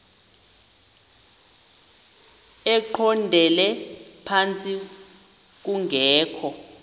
eqondele phantsi kungekho